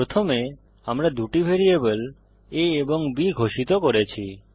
প্রথমে আমরা দুটি ভেরিয়েবল a এবং b ঘোষিত করি